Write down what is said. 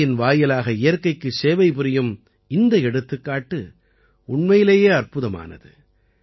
கலையின் வாயிலாக இயற்கைக்குச் சேவை புரியும் இந்த எடுத்துக்காட்டு உண்மையிலேயே அற்புதமானது